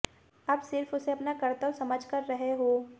अब सिर्फ उसे अपना कर्तव्य समझ कर रहे हो